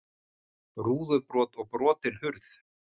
Rúðubrot og brotin hurð